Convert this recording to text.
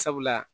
Sabula